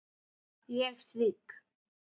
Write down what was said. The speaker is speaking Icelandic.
Ég svík